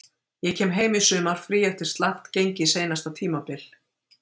Ég kem heim í sumarfrí eftir slakt gengi seinasta tímabil.